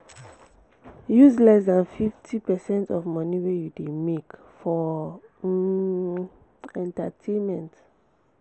use less than 50 percent of money wey you dey make for um entertainment